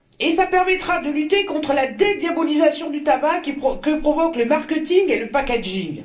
Cela permettra de lutter contre la dédiabolisation du tabac que provoquent le marketing et le packaging.